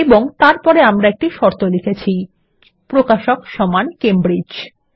এবং তারপর আমরা একটি শর্ত লিখেছি160 প্রকাশক সমান কেমব্রিজ